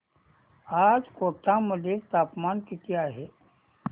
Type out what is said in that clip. आज कोटा मध्ये तापमान किती आहे